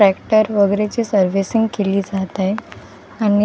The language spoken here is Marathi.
ट्रॅक्टर वगैरेची सर्विसिंग केली जात आहे आणि--